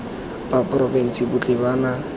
ba porofense botlhe ba na